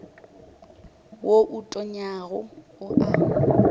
wo o tonyago o a